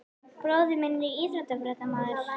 Bróðir minn er íþróttafréttamaður.